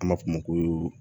An b'a fɔ o ma ko